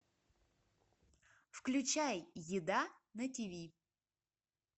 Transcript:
включай еда на тв